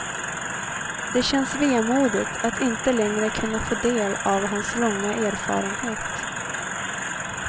Det känns vemodigt att inte längre kunna få del av hans långa erfarenhet.